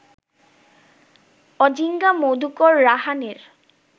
Ajinkya Madhukar রাহানের